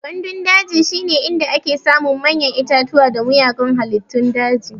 Gandun daji shine inda ake samun manyan itatuwa da mugayan halittun daji.